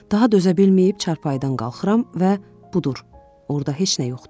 Daha dözə bilməyib çarpayıdan qalxıram və budur, orda heç nə yoxdur.